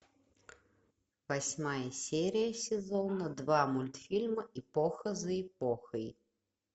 восьмая серия сезона два мультфильма эпоха за эпохой